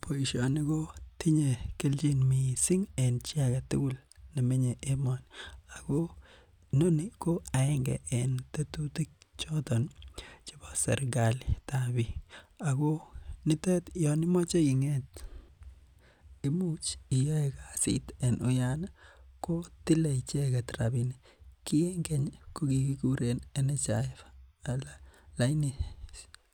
Boishani kotinye chi kelchin missing nemenye emoni. Inoni koaenge en tetutik choton chebo sikalit tab bik . Ako notet yon imache ing'et, imuch Yoon iyae kasit en uyan ih ko tile icheket rabinik. Ki en keny ko kikuren national social security fund alaini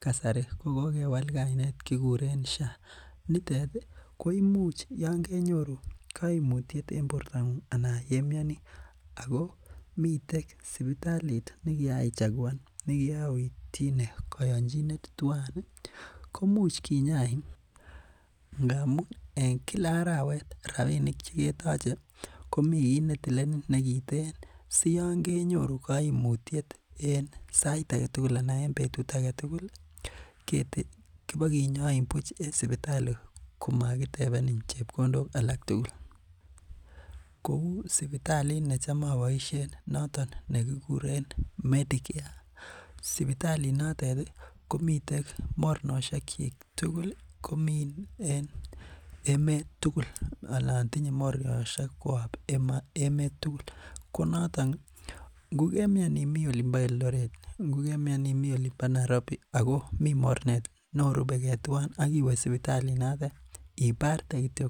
kasari kokewal kainet kikuren sha alaini kasari koimuch Yoon kenyoru kaimut en borta ng'ung ih koimuch anan yeimiani komiten komiten sipitalit nekiaichakuan nekiaoityine kayanchinet tuan ih koimuch kinyain ih ngamuun en Kila arawet rabinik cheketache ketile si Yoon kenyoru kaimutiet en sait aketugul anan en betut agetugul ih kibokinyain buch en sipitali komakitebeni chebkondok alak tugul. Koi sipalit necham apoishen kouu medicare , ko sipitali notet ih komiten mornosiek chik tugul komi en emet anan tinye mornosiek koab emet sugul ngo kemiani imi Eldoret ingokemian imi Nairobi ago mi mornet neorubeke tuan agiwe sipitalit noto ibarte kityo